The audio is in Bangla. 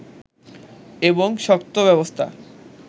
এবং শক্ত ব্যবস্থা